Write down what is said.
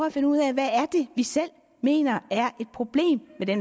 at finde ud af hvad vi selv mener er et problem i de